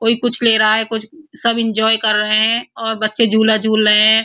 कोई कुछ ले रहा है कुछ। सब एन्जॉय कर रहे हैं और बच्चे झूला झूल रहे हैं।